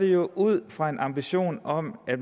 det ud fra en ambition om at